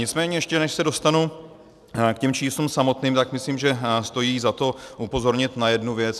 Nicméně ještě než se dostanu k těm číslům samotným, tak myslím, že stojí za to upozornit na jednu věc.